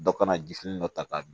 Dɔ kana jifini dɔ ta k'a dun